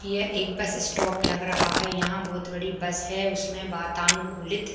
ये एक bus stop लग रहा है यहाँ बहुत बड़ी बस है उसमें वातानुकूलित --